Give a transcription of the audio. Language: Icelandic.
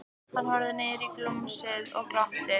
Hann horfði niður í gumsið og glotti.